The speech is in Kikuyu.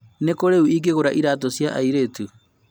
Nĩ kũrũ ĩngĩgura iratũ cia airitu?